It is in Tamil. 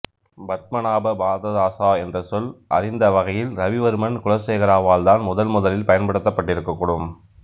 பத்மநாப பாததாசா என்ற சொல் அறிந்த வகையில் இரவிவர்மன் குலசேகராவால் தான் முதன் முதலில் பயன்படுத்தப்பட்டிருக்கக் கூடும்